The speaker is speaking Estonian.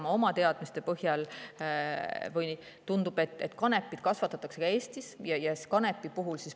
Ma oma teadmiste põhjal arvan, et kanepit kasvatatakse ka Eestis.